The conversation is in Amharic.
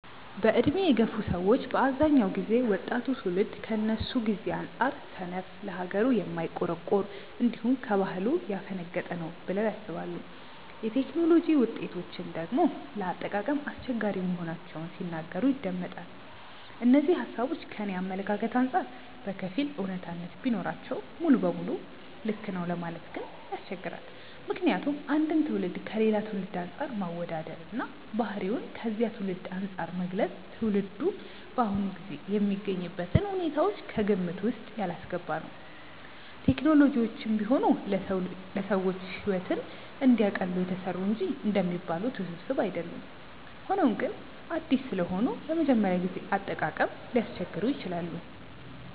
በዕድሜ የገፉ ሰዎች በአብዛኛው ጊዜ ወጣቱ ትውልድ ከነሱ ጊዜ አንጻር ሰነፍ፣ ለሀገሩ የማይቆረቆር፣ እንዲሁም ከባህሉ ያፈነገጠ ነው ብለው ያስባሉ። የቴክኖሎጂ ውጤቶችን ደግሞ ለአጠቃቀም አስቸጋሪ መሆናቸውን ሲናገሩ ይደመጣል። እነዚህ ሃሳቦች ከኔ አመለካከት አንጻር በከፊል አውነታነት ቢኖራቸውም ሙሉ ለሙሉ ልክ ነው ለማለት ግን ያስቸግራል። ምክንያቱም አንድን ትውልድ ከሌላ ትውልድ አንፃር ማወዳደር እና ባህሪውን ከዚያ ትውልድ አንፃር መግለጽ ትውልዱ በአሁኑ ጊዜ የሚገኝበትን ሁኔታዎች ከግምት ውስጥ ያላስገባ ነው። ቴክኖሎጂዎችም ቢሆኑ ለሰዎች ሕይወትን እንዲያቀሉ የተሰሩ እንጂ እንደሚባሉት ውስብስብ አይደሉም። ሆኖም ግን አዲስ ስለሆኑ ለመጀመሪያ ጊዜ አጠቃቀም ሊያስቸግሩ ይችላሉ።